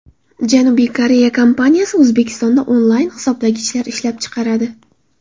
Janubiy Koreya kompaniyasi O‘zbekistonda onlayn hisoblagichlar ishlab chiqaradi.